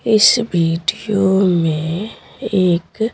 इस वीडियो में एक--